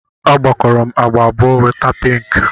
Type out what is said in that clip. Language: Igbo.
A gwakọrọ m agba abụọ, nweta pinki